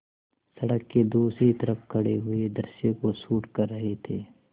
सड़क के दूसरी तरफ़ खड़े पूरे दृश्य को शूट कर रहे थे